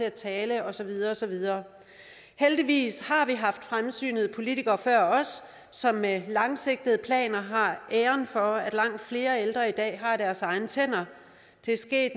at tale og så videre og så videre heldigvis har vi haft fremsynede politikere før os som med langsigtede planer har æren for at langt flere ældre i dag har deres egne tænder det er sket